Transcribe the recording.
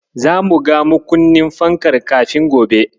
Zamu ga makunnin fankar kafin gobe.